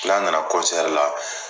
N'an nana la.